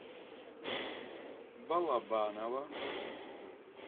балабаново